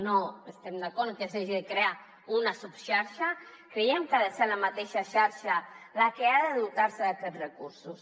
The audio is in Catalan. no estem d’acord amb que s’hagi de crear una subxarxa creiem que ha de ser la mateixa xarxa la que ha de dotar se d’aquests recursos